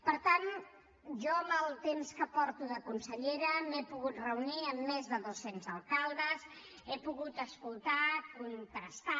per tant jo amb el temps que porto de consellera m’he pogut reunir amb més de doscents alcaldes he pogut escoltar contrastar